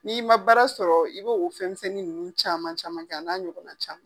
N'i ma baara sɔrɔ i b' o fɛn ninnu caman caman kɛ a n'a ɲɔgɔnna caman.